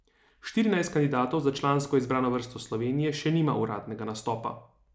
Štirinajst kandidatov za člansko izbrano vrsto Slovenije še nima uradnega nastopa.